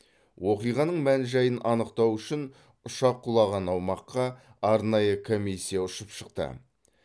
оқиғаның мән жайын анықтау үшін ұшақ құлаған аумаққа арнайы комиссия ұшып шықты